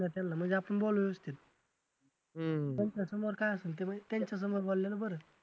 म्हणजे आपण बोलू व्यवस्थित त्यांचा समोर काय असेल ते भाई त्यांचासमोर बोलल्यावर बरं.